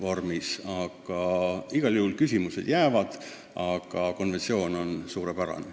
Nii et need küsimused jäävad, aga konventsioon on suurepärane.